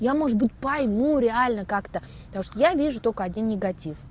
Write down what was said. я может быть пойму реально как-то потому что я вижу только один негатив